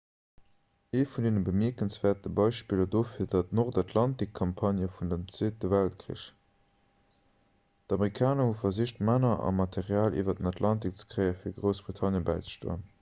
ee vun de bemierkenswäertste beispiller dofir war d'nordatlantikcampagne vum zweete weltkrich d'amerikaner hu versicht männer a material iwwer den atlantik ze kréien fir groussbritannien bäizestoen